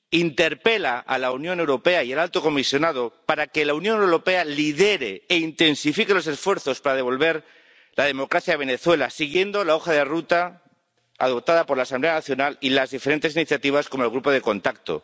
Interpela a la Unión Europea y al Alto Comisionado para que la Unión Europea lidere e intensifique los esfuerzos para devolver la democracia a Venezuela siguiendo la hoja de ruta adoptada por la Asamblea Nacional y las diferentes iniciativas con el Grupo de Contacto.